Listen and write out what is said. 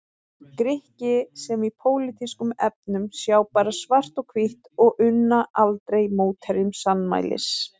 Grikki sem í pólitískum efnum sjá bara svart og hvítt og unna aldrei mótherjum sannmælis.